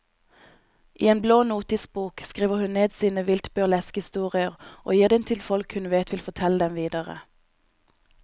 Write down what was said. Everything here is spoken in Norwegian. I en blå notisbok skriver hun ned sine vilt burleske historier og gir dem til folk hun vet vil fortelle dem videre.